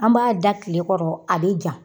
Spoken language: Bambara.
An b'a da tilekɔrɔ a bɛ ja.